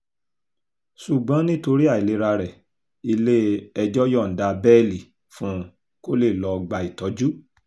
ṣùgbọ́n nítorí àìlera rẹ̀ ilé-ẹjọ́ yọ̀ǹda bẹ́ẹ́lí fún un kó lè lọ́ọ́ gba ìtọ́jú